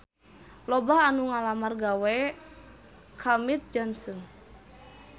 Loba anu ngalamar gawe ka Mead Johnson